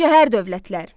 Şəhər dövlətlər.